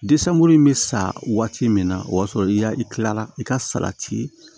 Desanburu in bɛ sa waati min na o y'a sɔrɔ i kilala i ka salati